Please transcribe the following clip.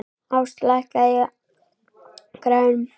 Ást, lækkaðu í græjunum.